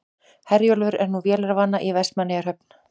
Herjólfur er nú vélarvana í Vestmannaeyjahöfn